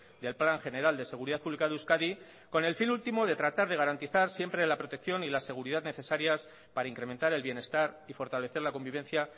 y al plan general de seguridad pública de euskadi con el fin último de tratar de garantizar siempre la protección y la seguridad necesarias para incrementar el bienestar y fortalecer la convivencia